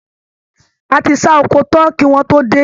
A ti ṣá oko tán kí wọ́n tó dé.